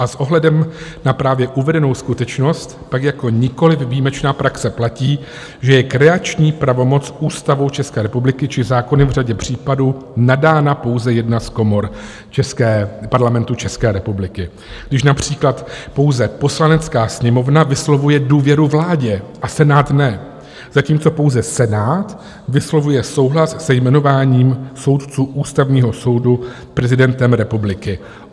A s ohledem na právě uvedenou skutečnost tak jako nikoliv výjimečná praxe platí, že je kreační pravomocí Ústavou České republiky či zákony v řadě případů nadána pouze jedna z komor Parlamentu České republiky, když například pouze Poslanecká sněmovna vyslovuje důvěru vládě a Senát ne, zatímco pouze Senát vyslovuje souhlas se jmenováním soudců Ústavního soudu prezidentem republiky.